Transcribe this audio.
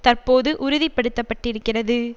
தற்போது உறுதிப்படுத்தப்பட்டிருக்கிறது